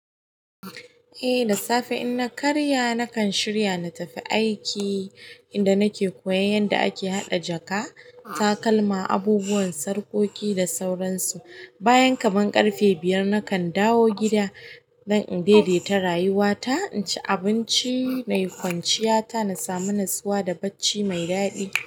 Eh da safe in na karya nakan shirya na tafi aiki inda nake koyan yadda ake haɗa jaka, takalma, abubuwan sarƙoƙi da sauransu. Bayan kaman ƙarfe biyar nakan dawo gida dan in daidai ta rayuwata, inci abinci nayi kwanciyata na samu natsuwa da bacci mai daɗi.